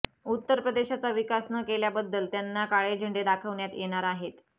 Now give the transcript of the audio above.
उत्तर प्रदेशाचा विकास न केल्याबद्दल त्यांना काळे झेंडे दाखवण्यात येणार आहेत